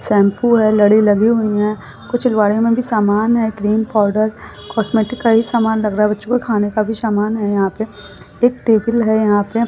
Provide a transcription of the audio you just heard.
लगी हुई है कुछ में भी सामान है क्रीम पाउडर कॉस्मेटिक का ही सामान लग रहा है। बच्चो का भी खाने का समान है यहाँ पे एक टिफ़िन है यहाँ पे --